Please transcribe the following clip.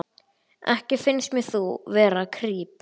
Ekki finnst mér þú vera kríp.